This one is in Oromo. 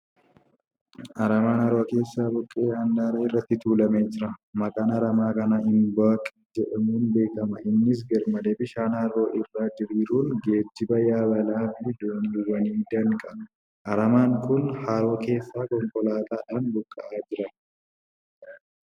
Aramaan haroo keessa buqqa'e handaara irratti tuulamee jira . Maqaan aramaa kanaa Imboc jedhamuun beekama. Innis garmalee bishaan haroo irra diriiruun geejjiba yaabalaa fi dooniiwwanii danqa . Aramaan kun haroo keessaa konkolaataadhaan buqqa'aa jira.